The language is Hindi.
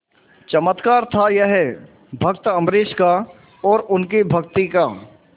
चमत्कार था यह भक्त अम्बरीश का और उनकी भक्ति का